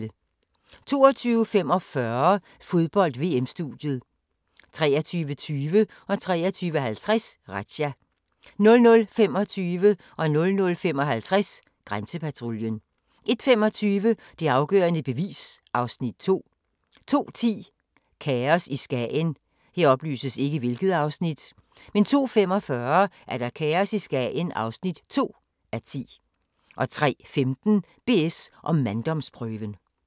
22:45: Fodbold: VM-studiet 23:20: Razzia 23:50: Razzia 00:25: Grænsepatruljen 00:55: Grænsepatruljen 01:25: Det afgørende bevis (Afs. 2) 02:10: Kaos i Skagen 02:45: Kaos i Skagen (2:10) 03:15: BS & manddomsprøven